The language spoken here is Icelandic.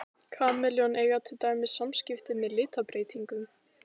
Kameljón eiga til dæmis samskipti með litabreytingum.